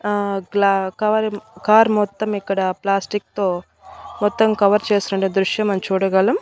ఆ గ్ల కవర్ మ కార్ మొత్తం ఇక్కడ ప్లాస్టిక్ తో మొత్తం కవర్ చేసినటువంటి దృశ్యం మనం చూడగలం.